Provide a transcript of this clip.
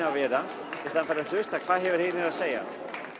að vera í staðinn fyrir að hlusta hvað eru hinir að segja